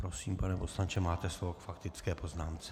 Prosím, pane poslanče, máte slovo k faktické poznámce.